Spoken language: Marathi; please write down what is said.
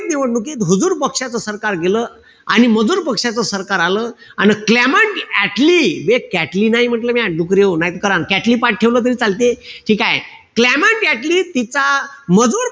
निवडणुकीत हुझुर पक्षाचं सरकार गेलं. आणि मजूर पक्षाचं सरकार आलं. अन क्लेमेंट ॲटली बे कॅटली नाही म्हंटल म्या डुकऱ्याहो नाई त करान. कॅटली पाठ ठेवलं तरी चालते. ठीकेय? क्लेमेंट ॲटली तिचा मजूर,